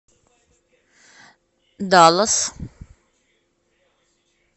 даллас